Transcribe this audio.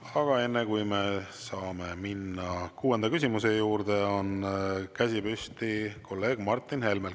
Aga enne, kui me saame minna kuuenda küsimuse juurde, on käsi püsti kolleeg Martin Helmel.